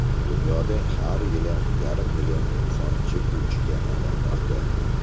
Dunyoda har yili yarim million inson chekuvchiga aylanmoqda.